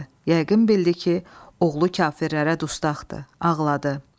Yəqin bildi ki, oğlu kafirərərə dustaqdır, ağladı.